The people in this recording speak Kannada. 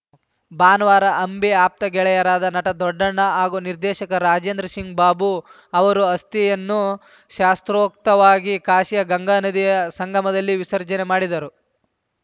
ಭಾನುವಾರ ಅಂಬಿ ಆಪ್ತ ಗೆಳೆಯರಾದ ನಟ ದೊಡ್ಡಣ್ಣ ಹಾಗೂ ನಿರ್ದೇಶಕ ರಾಜೇಂದ್ರ ಸಿಂಗ್‌ ಬಾಬು ಅವರು ಅಸ್ಥಿಯನ್ನು ಶಾಸ್ತೋತ್ರವಾಗಿ ಕಾಶಿಯ ಗಂಗಾನದಿಯ ಸಂಗಮದಲ್ಲಿ ವಿಸರ್ಜನೆ ಮಾಡಿದರು